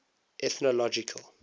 ethnological